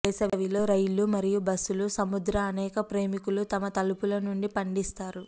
వేసవిలో రైళ్లు మరియు బస్సులు సముద్ర అనేక ప్రేమికులు తమ తలుపులు నుండి పండిస్తారు